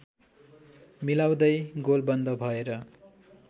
मिलाउँदै गोलबन्द भएर